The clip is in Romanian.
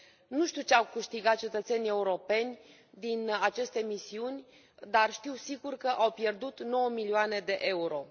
Nu știu ce au câștigat cetățenii europeni din aceste misiuni, dar știu sigur că au pierdut 9 milioane de euro.